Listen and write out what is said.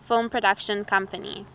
film production company